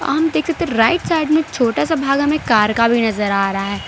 आम देख सकते हैं राइट साइड में छोटासा भागा मे कार का भी नजर आ रहा है।